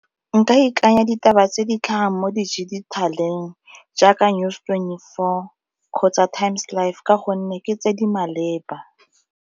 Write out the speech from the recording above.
Nka ikanya ditaba tse di tlhagang mo di jaaka News twenty-four kgotsa Times Live ka gonne ke tse di maleba.